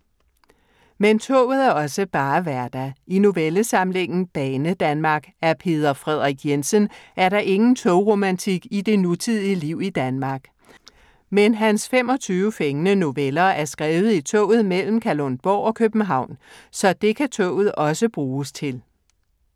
Men toget er også bare hverdag. I novellesamlingen Banedanmark af Peder Frederik Jensen er der ingen togromantik i det nutidige liv i Danmark. Men hans 25 fængende noveller er skrevet i toget mellem Kalundborg og København. Så dét kan toget også bruges til!